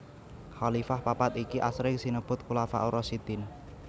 Khalifah papat iki asring sinebut Khulafaur Rasyidin